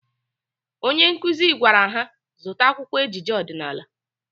Onye nkụzi gwara ha zụta akwụkwọ ejije ọdịnaala.